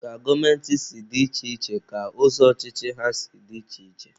Ka gọọmenti si dị iche iche ka ụzọ ọchịchị ha si dị iche iche.